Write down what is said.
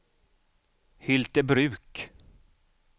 Hyltebruk